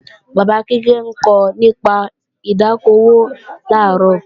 Bàbá Kíkẹ́ ńkọ nípa ìdá okò òwò làárọ̀